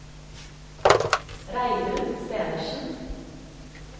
Reidun Stenersen